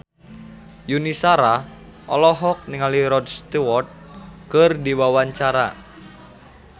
Yuni Shara olohok ningali Rod Stewart keur diwawancara